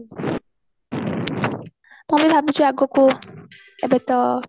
କାଳେ ଭାବୁଛୁ ଆଗକୁ ଏବେ ତ